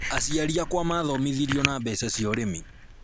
Aciari akwa maathomithirio na mbeca cia ũrĩmi